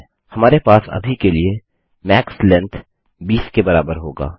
हमारे पास अभी के लिए मैक्स लेंग्थ 20 के बराबर होगा